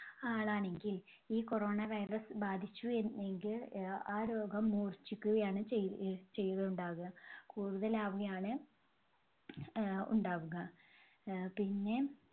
ആളാണെങ്കിൽ ഈ corona virus ബാധിച്ചുവെ~എങ്കിൽ ആ രോഗം മൂർഛിക്കുകയാണ് ചെയ്യു~ചെയ്യുക ഉണ്ടാവുക, കൂടുതലാവുകയാണ് ആഹ് ഉണ്ടാവുക. ആഹ് പിന്നെ